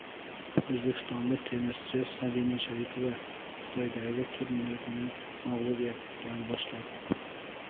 O‘zbekistonlik tennischi Sabina Sharipova Xitoydagi turnirni mag‘lubiyat bilan boshladi.